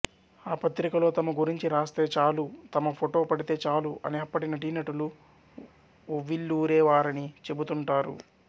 ఆ పత్రికలో తమ గురించి రాస్తే చాలు తమ ఫొటో పడితే చాలు అని అప్పటి నటీనటులు ఉవ్విళ్ళూరేవారని చెప్పుతూంటారు